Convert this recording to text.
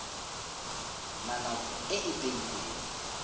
na nako e e beilweng